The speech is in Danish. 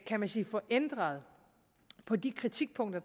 kan man sige få ændret på de kritikpunkter